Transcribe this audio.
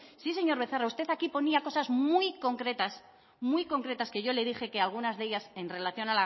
sí señor becerra usted aquí ponía cosas muy concretas que yo le dije que algunas de ellas en relación